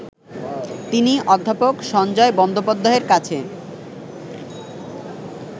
তিনি অধ্যাপক সঞ্জয় বন্দোপাধ্যায়ের কাছে